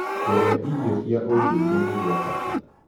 Kũrĩa irio cia ũndũĩre nĩgwa bata